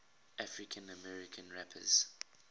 african american rappers